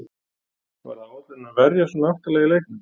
Var það áætlunin að verjast svona aftarlega í leiknum?